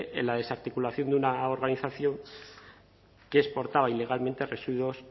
en la desarticulación de una organización que exportaba ilegalmente a residuos